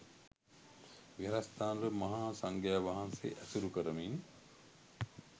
විහාරස්ථානවල මහා සංඝයා වහන්සේ ඇසුරු කරමින්